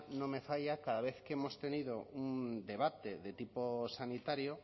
no me falla cada vez que hemos tenido un debate de tipo sanitario